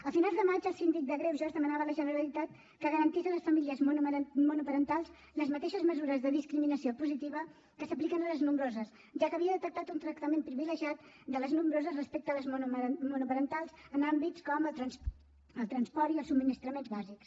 a finals de maig el síndic de greuges demanava a la generalitat que garantís a les famílies monoparentals les mateixes mesures de discriminació positiva que s’apliquen a les nombroses ja que havia detectat un tractament privilegiat de les nombroses respecte a les monoparentals en àmbits com el transport i els subministraments bàsics